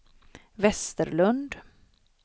Westerlund